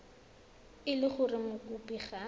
e le gore mokopi ga